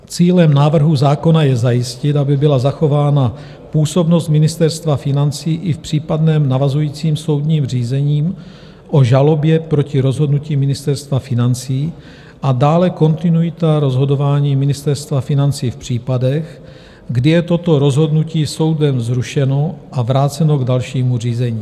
Cílem návrhu zákona je zajistit, aby byla zachována působnost Ministerstva financí i v případném navazujícím soudním řízení o žalobě proti rozhodnutí Ministerstva financí a dále kontinuita rozhodování Ministerstva financí v případech, kdy je toto rozhodnutí soudem zrušeno a vráceno k dalšímu řízení.